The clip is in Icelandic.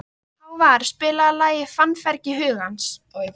Hávarr, spilaðu lagið „Fannfergi hugans“.